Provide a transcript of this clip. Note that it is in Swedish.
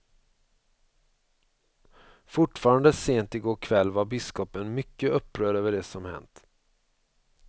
Fortfarande sent i går kväll var biskopen mycket upprörd över det som hänt.